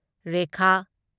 Rekha